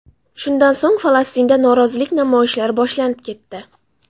Shundan so‘ng, Falastinda norozilik namoyishlari boshlanib ketdi.